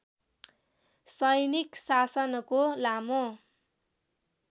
सैनिक शासनको लामो